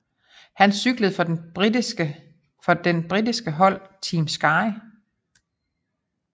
Han cykler for den britiske hold Team Sky